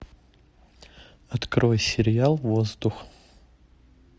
открой сериал воздух